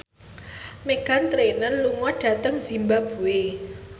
Meghan Trainor lunga dhateng zimbabwe